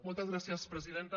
moltes gràcies presidenta